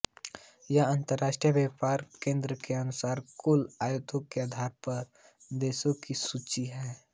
यह अंतर्राष्ट्रीय व्यापार केंद्र के अनुसार कुल आयातों के आधार पर देशों की सूची है